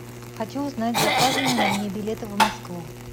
хочу узнать заказаны ли мне билеты в москву